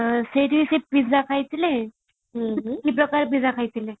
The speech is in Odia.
ସେଇଠି ସେ ପିଜା ଖାଇଥିଲେ pizza ଖାଇଥିଲେ